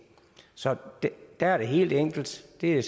så der er det helt enkelt det er